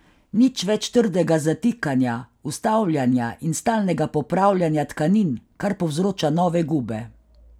Nič več trdega zatikanja, ustavljanja in stalnega popravljanja tkanin, kar povzroča nove gube.